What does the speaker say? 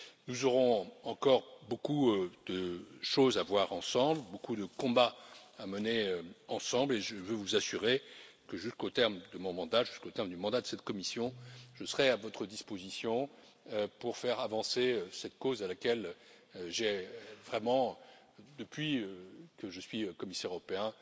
Nous aurons encore beaucoup de choses à voir ensemble, beaucoup de combats à mener ensemble, et je veux vous assurer que jusqu'au terme de mon mandat, jusqu'au terme du mandat de cette Commission, je serai à votre disposition pour faire avancer cette cause à laquelle j'ai vraiment, depuis que je suis commissaire européen,